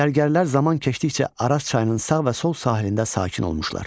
Gərgərlər zaman keçdikcə Araz çayının sağ və sol sahilində sakin olmuşlar.